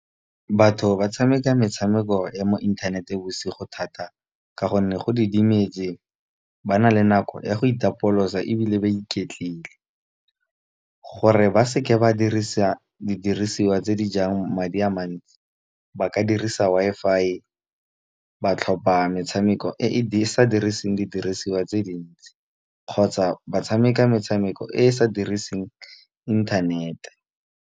Batho ba tshameka metshameko ya mo inthanete bosigo thata, ka gonne go didimetse. Bana le nako ya go itapolosa ebile ba iketlile, gore ba seke ba dirisa didirisiwa di jang madi a mantsi. Ba ka dirisa Wi-Fi ba tlhopha metshameko e e sa diriseng didirisiwa tse dintsi. Kgotsa ba tshameka metshameko e e sa diriseng internet.